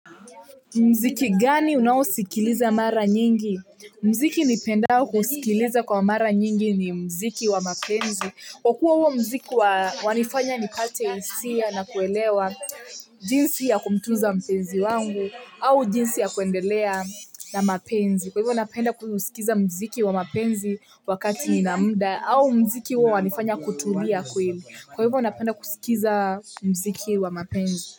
Muziki gani unaosikiliza mara nyingi muziki nipendao kuusikiliza kwa mara nyingi ni muziki wa mapenzi kwa kuwa huo muziki wanifanya nipate hisia na kuelewa jinsi ya kumtuza mpenzi wangu au jinsi ya kuendelea na mapenzi kwa hivyo napenda kusikiza muziki wa mapenzi wakati ninamuda au muziki huo wanifanya kutulia kweli kwa hivyo napenda kusikiza muziki wa mapenzi.